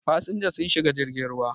fasinja sun shiga jirgin ruwa